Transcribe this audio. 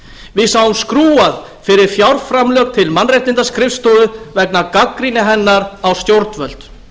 við sáum skrúfað fyrir fjárframlög til mannréttindaskrifstofu vegna gagnrýni hennar á stjórnvöld